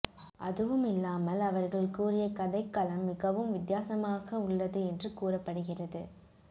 அதுவுமில்லாமல் அவர்கள் கூறிய கதைக்களம் மிகவும் வித்தியாசமாக உள்ளது என்று கூறப்படுகிறது